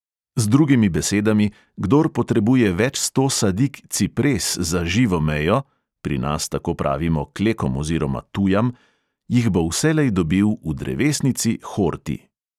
Z drugimi besedami, kdor potrebuje več sto sadik "cipres" za živo mejo (pri nas tako pravimo klekom oziroma tujam,) jih bo vselej dobil v drevesnici horti.